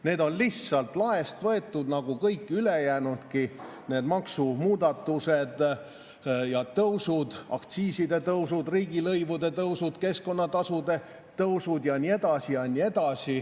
Need on lihtsalt laest võetud nagu kõik ülejäänudki, need maksumuudatused ja -tõusud, aktsiiside tõusud, riigilõivude tõusud, keskkonnatasude tõusud ja nii edasi.